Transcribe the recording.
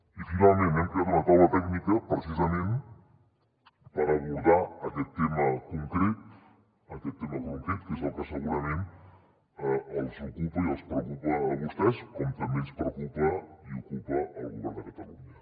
i finalment hem creat una taula tècnica precisament per abordar aquest tema concret que és el que segurament els ocupa i els preocupa a vostès com també ens preocupa i ocupa al govern de catalunya